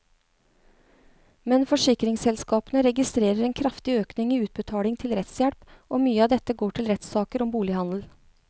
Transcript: Men forsikringsselskapene registrerer en kraftig økning i utbetalingene til rettshjelp, og mye av dette går til rettssaker om bolighandel.